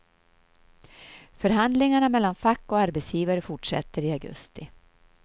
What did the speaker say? Förhandlingarna mellan fack och arbetsgivare fortsätter i augusti.